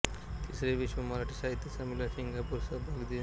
तिसरे विश्व मराठी साहित्य संमेलन सिंगापूर सहभाग दि